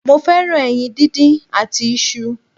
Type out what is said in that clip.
Mo fẹ́ràn ẹyin díndín àti isu